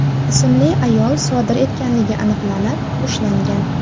ismli ayol sodir etganligi aniqlanib, ushlangan.